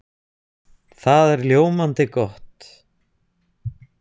Það er ljómandi gott!